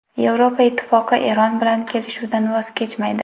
Yevropa Ittifoqi Eron bilan kelishuvdan voz kechmaydi.